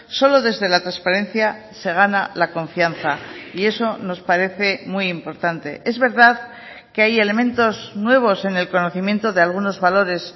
solo desde la transparencia se gana la confianza y eso nos parece muy importante es verdad que hay elementos nuevos en el conocimiento de algunos valores